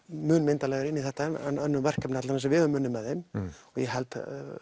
mun myndarlegra inn í þetta en önnur verkefni sem við höfum unnið með þeim ég held